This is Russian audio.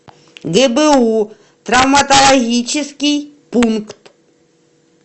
гбу травматологический пункт